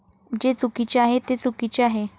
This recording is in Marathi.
जे चुकीचे आहे ते चुकीचे आहे.